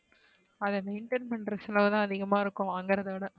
அதா maintain பண்ற செலவு தான் அதிகமா இருக்கும் அங்க இருக்றதா விட.